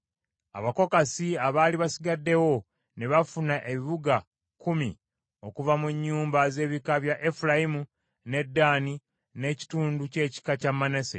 Abakokasi abaali basigaddewo ne bafuna ebibuga kkumi okuva mu nnyumba, z’ebika bya Efulayimu, ne Ddaani n’ekitundu ky’ekika kya Manase.